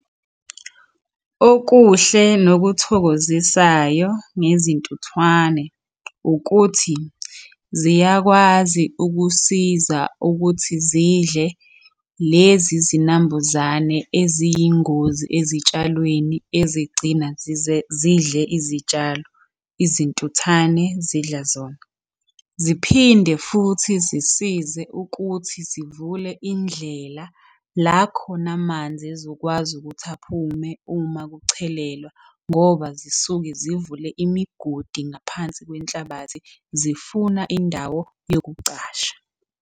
Okuhle nokuthokozisayo ngezintuthwane ukuthi ziyakwazi ukusiza ukuthi zidle lezi zinambuzane eziyingozi ezitshalweni ezigcina zidle izitshalo, izintuthane zidla zona. Ziphinde futhi zisize ukuthi zivule indlela la khona amanzi ezokwazi ukuthi aphume uma kuchelelwa ngoba zisuke zivule imigodi ngaphansi kwenhlabathi, zifuna indawo yokucasha.